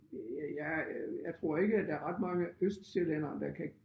Jeg jeg jeg tror ikke at der er ret mange østsjællændere der kan